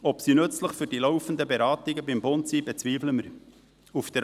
Ob sie für die laufenden Beratungen beim Bund nützlich ist, bezweifeln wir.